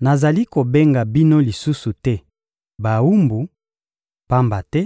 Nazali kobenga bino lisusu te «bawumbu,» pamba te